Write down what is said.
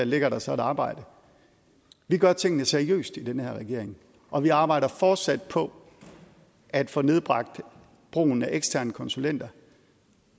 ligger der så et arbejde vi gør tingene seriøst i den her regering og vi arbejder fortsat på at få nedbragt brugen af eksterne konsulenter